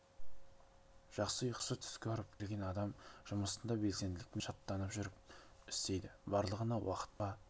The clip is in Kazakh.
жақсы ұйықтап жақсы түс көріп келген адам жұмысын да белсенділікпен шаттанып жүріп істейді барлығына уақыт таба